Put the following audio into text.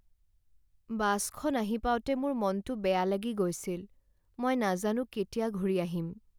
বাছখন আহি পাওঁতে মোৰ মনটো বেয়া লাগি গৈছিল। মই নাজানো কেতিয়া ঘূৰি আহিম।